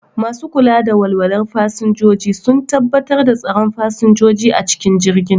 Masu kula da walwalar fasinjoji sun tabbatar da tsaron fasinjoji a cikin jirgi